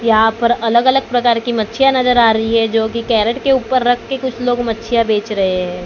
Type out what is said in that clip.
यहां पर अलग अलग प्रकार की मच्छियां नजर आ रही है जो की कैरेट के ऊपर रखकर कुछ लोग मछियां बेच रहे हैं।